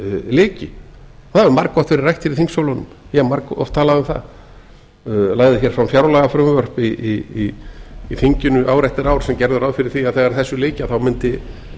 lyki það hefur margoft verið rætt hér í þingsölunum og ég hef margoft talað um það lagði hér fram fjárlagafrumvarp í þinginu ár eftir ár sem gerði ráð fyrir því að þegar þessu lyki þá mundi